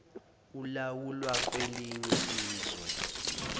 olawulwa kwelinye izwe